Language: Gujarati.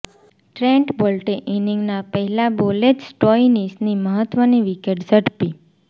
ટ્રેન્ટ બોલ્ટે ઇનીંગના પહેલા બોલે જ સ્ટોઇનીશની મહત્વની વિકેટ ઝડપી